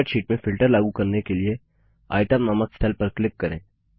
spreadsheet में filter लागू करने के लिए Itemनामक सेल पर क्लिक करें